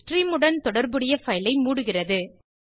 stream உடன் தொடர்புடைய file ஐ மூடுகிறது